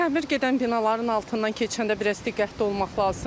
Təmir gedən binaların altından keçəndə biraz diqqətli olmaq lazımdır.